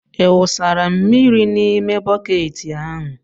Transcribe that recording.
Ị wụsara mmiri n'ime bọket ahụ?